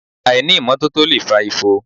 Àìní ìmọ́tótó lè fa ifo